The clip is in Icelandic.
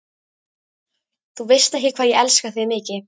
Þú veist ekki, hvað ég elska þig mikið.